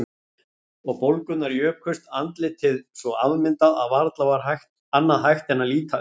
Og bólgurnar jukust, andlitið svo afmyndað að varla var annað hægt en að líta undan.